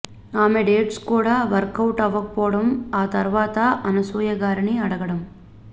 ఆమె డేట్స్ కూడా వర్కౌట్ అవ్వకపోవడం ఆ తర్వాత అనసూయ గారిని అడగడం